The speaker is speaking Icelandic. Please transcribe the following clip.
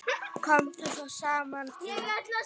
Komu þá saman í